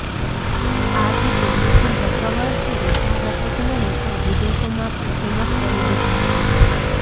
આ ગીતે મિથુન ચક્રવર્તીને ભારત જ નહિ પણ વિદેશોમાં પણ ફેમસ કરી દીધા હતા